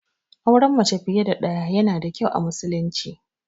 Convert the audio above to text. Auren mace fiye da ɗaya yana da kyau a musulunci.